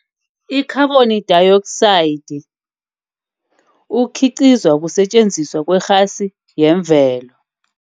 Ikhaboni dayioksayidi, okhiqizwa kusetjenziswa kwerhasi yemvelo.